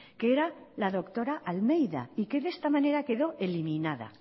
que era la doctora almeida y que de esta manera quedó eliminada